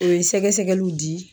O ye sɛgɛ sɛgɛliw di